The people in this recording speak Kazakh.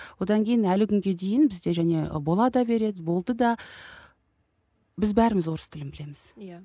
одан кейін әлі күнге дейін бізде және бола да береді болды да біз бәріміз орыс тілін білеміз иә